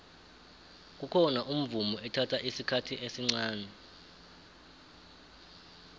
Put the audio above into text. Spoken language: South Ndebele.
kukhona umvumo ethatha isikhathi esncani